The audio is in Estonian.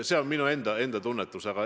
See on minu enda seisukoht.